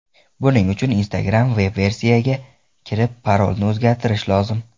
Buning uchun Instagram veb-versiyasiga kirib, parolni o‘zgartirish lozim.